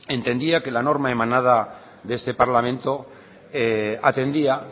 entendía que la norma emanada de este parlamento atendía